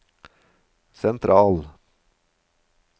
sentral